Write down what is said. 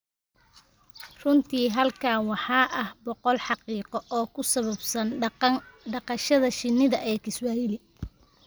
Runtii, halkan waxaa ah boqol xaqiiqo oo ku saabsan dhaqashada shinnida ee Kiswahili: